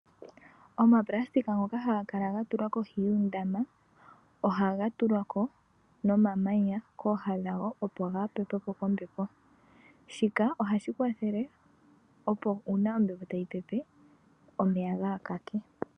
Omapulasitika ngoka haga kala gatulwa kohi yoondama ohaga tulwako nomamanya kooha dhago opo kaaga pepwepo kombepo, shika ohashi kwathele opo uuna ombepo tayi tayi pepe omeeya gaakake.